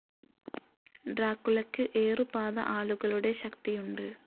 ഡ്രാക്കുളയ്ക്ക് ഏറുപാത ആളുകളുടെ ശക്തിയുണ്ട്.